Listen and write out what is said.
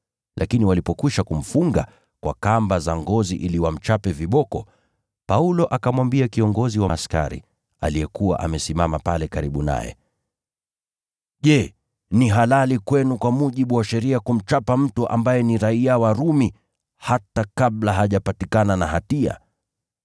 Lakini walipokwisha kumfunga kwa kamba za ngozi ili wamchape viboko, Paulo akamwambia kiongozi wa askari aliyekuwa amesimama pale karibu naye, “Je, ni halali kwenu kwa mujibu wa sheria kumchapa mtu ambaye ni raiya wa Rumi hata kabla hajapatikana na hatia?”